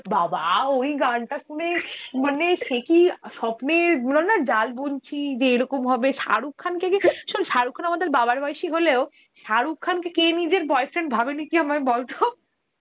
বাবাঃ ওই গানটা শুনে মানে সে কি স্বপ্নের বললাম না জাল বুনছি যে রকম হবে শাহরুখ খান যদি শাহরুখ খান আমাদের বাবার বয়সী হলেও শাহরুখ খানকে কে নিজের boyfriend ভাবেনি তুই আমায় বল তো